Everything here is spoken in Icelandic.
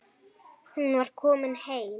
Hún var komin heim.